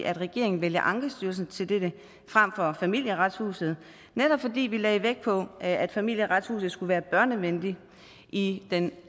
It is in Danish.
at regeringen vælger ankestyrelsen til dette frem for familieretshuset netop fordi vi lagde vægt på at familieretshuset skulle være børnevenligt i den